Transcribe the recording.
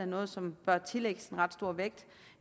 noget som bør tillægges en ret stor vægt